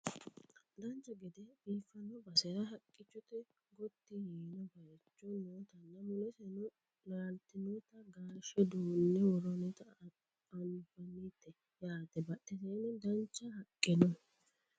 dancha gede gede biiffino basera haqqicho gotti yiino bayeecho nootanna muleseno laaltinota gaashe duunne worroonnita anafnnite yaate badheseenni duucha haqqe no